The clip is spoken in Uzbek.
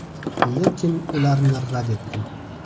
Lekin ularni rad etdim.